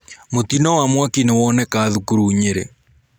Mũtino wa mwaki nĩwoneka thukuru Nyerĩ.